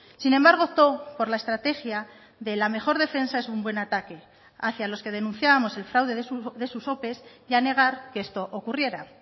sin embargo optó por la estrategia de la mejor defensa es un buen ataque hacia los que denunciábamos el fraude de sus ope y a negar que esto ocurriera